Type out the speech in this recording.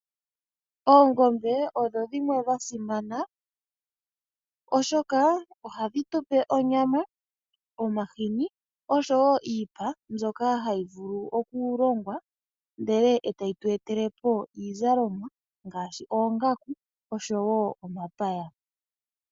Oongombe odho dhimwe dha simana oshoka ohadhi tupe onyama, omahini niipa mbyoka hayi vulu okulongwa ndele etayi tu etelepo iizlomwa ngaashi oongaku nomapaya.